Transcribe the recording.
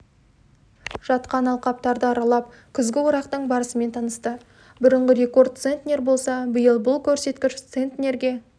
жатқан алқаптарды аралап күзгі орақтың барысымен танысты бұрынғы рекорд центнер болса биыл бұл көрсеткіш центерге